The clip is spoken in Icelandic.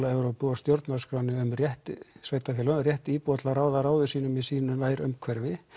Evrópu og stjórnarskránni um rétt sveitarfélaga og rétt íbúa til að ráða ráðum sínum í sínu nærumhverfi